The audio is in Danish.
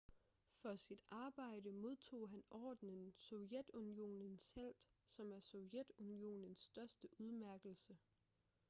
for sit arbejde modtog han ordenen sovjetunionens helt som er sovjetunionens største udmærkelse